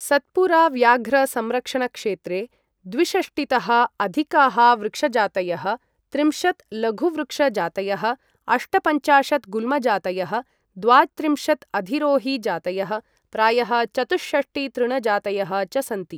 सत्पुरा व्याघ्र संरक्षणक्षेत्रे द्विषष्टिःतः अधिकाः वृक्ष जातयः, त्रिंशत् लघुवृक्ष जातयः, अष्टपञ्चाशत् गुल्म जातयः, द्वात्रिंशत् अधिरोहि जातयः, प्रायः चतुःषष्टिः तृण जातयः च सन्ति।